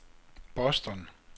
Boston